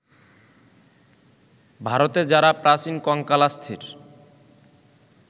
ভারতে যাঁরা প্রাচীন কঙ্কালাস্থির